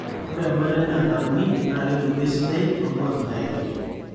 ore embata en'daa nauni naa kebulu esidai too nkwapi nairobi